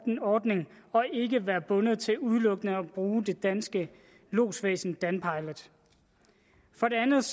ordning og ikke er bundet til udelukkende at bruge det danske lodsvæsen danpilot for det andet